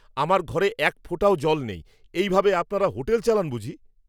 আমার ঘরে এক ফোঁটাও জল নেই! এই ভাবে আপনারা হোটেল চালান বুঝি?